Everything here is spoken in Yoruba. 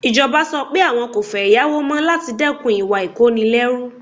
Ìjọba sọ pé àwọn kò fẹ́ yáwó mọ́ láti dẹ́kun ìwà ìkónilẹ́rú.